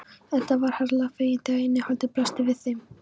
Edda varð harla fegin þegar innihaldið blasti við þeim.